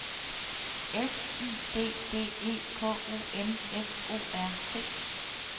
S I D D E K O M F O R T